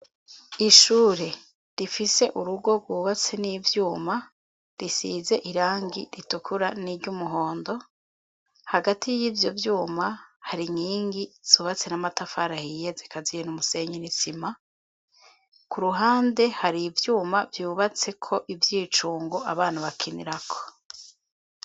Ishure rifise urugo rwubatse n'ivyuma risize irangi ritukura n'iryumuhondo hagati y'ibyo vyuma hari nkingi subatse n'amatafara hiyeze kaziye n'umusenyini sima ku ruhande hari ibyuma byubatse ko ibyicungo abana bakinira ko.